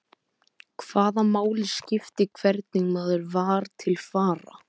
Hvaða máli skipti hvernig maður var til fara?